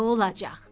Nə olacaq?